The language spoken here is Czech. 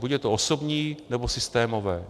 Buď je to osobní, nebo systémové.